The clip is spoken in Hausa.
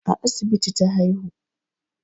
A asibiti ta haihu